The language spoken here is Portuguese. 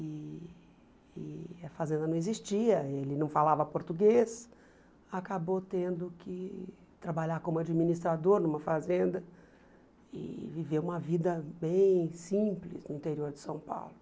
E e a fazenda não existia, ele não falava português, acabou tendo que trabalhar como administrador numa fazenda e viver uma vida bem simples no interior de São Paulo.